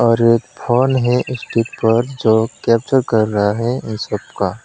और एक फोन है स्टीक पर जो कैप्चर कर रहा है इन सब का।